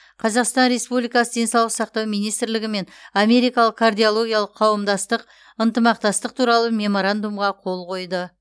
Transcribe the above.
қазақстан республикасы денсаулық сақтау министрлігі мен америкалық кардиологиялық қауымдастық ынтымақтастық туралы меморандумға қол қойды